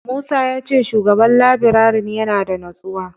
Musa ya ce Shugaban labirarin yana da natsuwa.